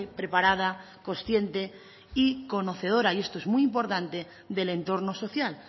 preparada consciente y conocedora y esto es muy importante del entorno social